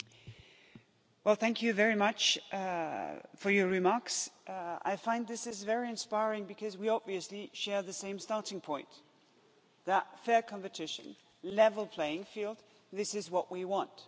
Mr President, thank you very much for your remarks. I find this is very inspiring because we obviously share the same starting point that fair competition, a level playing field this is what we want.